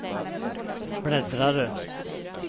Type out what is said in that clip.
bläddrare